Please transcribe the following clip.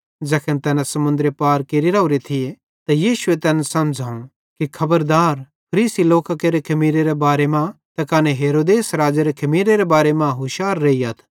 ज़ैखन तैना समुन्दरे पार केरि राओरे थिये त यीशुए तैन समझ़ावं कि खबरदार फरीसी लोकां केरे खमीरेरे बारे मां ते कने हेरोदेस राज़ेरे खमीरेरे बारे मां होशियार रेइयथ